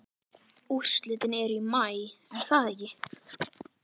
Úrslitin eru í maí er það ekki?